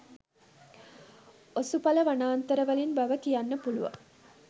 ඔසුඵල වනාන්තරවලින් බව කියන්න පුළුවන්.